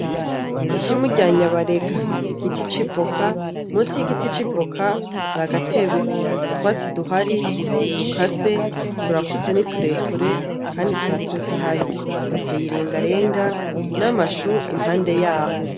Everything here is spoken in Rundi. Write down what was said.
Ishimu rya nyabarega, Igiti c'ivoka ,munsi y'igiti civoka, hari agatebe, utwatsi duhari ntidukase, turakuze n'itureture kandi turatotahaye, hateye irengarenga n'amashu impande yaho.